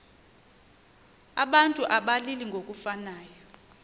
abantu abalili ngokufanayo